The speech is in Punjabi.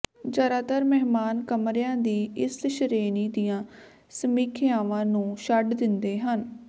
ਜ਼ਿਆਦਾਤਰ ਮਹਿਮਾਨ ਕਮਰਿਆਂ ਦੀ ਇਸ ਸ਼੍ਰੇਣੀ ਦੀਆਂ ਸਮੀਖਿਆਵਾਂ ਨੂੰ ਛੱਡ ਦਿੰਦੇ ਹਨ